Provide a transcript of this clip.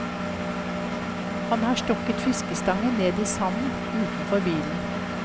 Han har stukket fiskestangen ned i sanden utenfor bilen.